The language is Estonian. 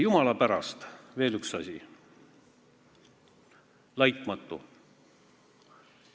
Jumala pärast, veel üks asi, "laitmatu".